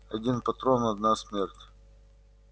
один патрон одна смерть